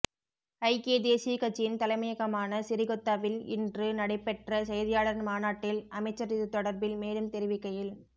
ஐக்கியக் தேசிய கட்சியின் தலைமையகமான சிறிகொத்தவில் இன்று நடைபெற்ற செய்தியாளர் மாநாட்டில் அமைச்சர் இதுதொடர்பில் மேலும் தெரிவிக்கையில்